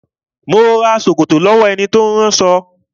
Mo ma rán ṣòkòtò lọ́wọ́ ẹni tí ó ń ránṣọ